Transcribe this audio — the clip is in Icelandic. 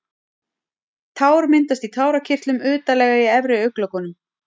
Tár myndast í tárakirtlum utarlega í efri augnlokunum.